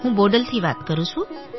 હું બોડલથી વાત કરું છું